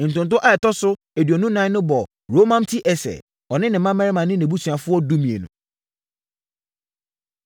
Ntonto a ɛtɔ so aduonu ɛnan no bɔɔ Romamti-Eser, ɔne ne mmammarima ne nʼabusuafoɔ (12)